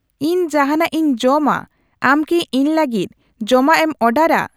ᱤᱧ ᱡᱟᱦᱟᱱᱟᱜ ᱤᱧ ᱡᱚᱢᱟ ᱟᱢ ᱠᱤ ᱤᱧ ᱠᱟᱹᱜᱤᱫ ᱡᱚᱢᱟᱜ ᱮᱢ ᱚᱨᱰᱟᱨᱟ